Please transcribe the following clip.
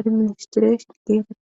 administration ges.